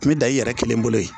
N bɛ dan i yɛrɛ kelen bolo yen